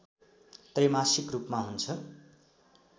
त्रैमासिक रूपमा हुन्छ